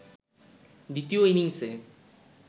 দ্বিতীয় ইনিংসে